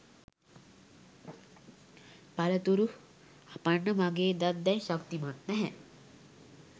පළතුරු හපන්න මගේ දත් දැන් ශක්තිමත් නෑ